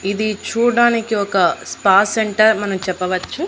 ఇది చూడ్డానికి ఒక స్పా సెంటర్ మనం చెప్పవచ్చు.